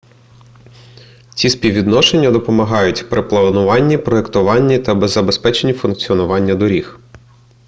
ці співвідношення допомагають при плануванні проектуванні та забезпеченні функціонування доріг